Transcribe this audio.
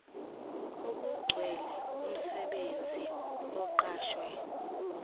okugcwele umsebenzi oqashwe